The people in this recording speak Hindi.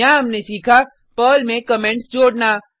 यहाँ हमने सीखा पर्ल में कमेंट्स जोडना